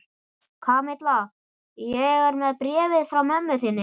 Kamilla, ég er með bréfið frá mömmu þinni.